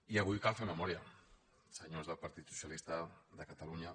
i avui cal fer memòria senyors del partit socialista de catalunya